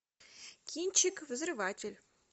кинчик взрыватель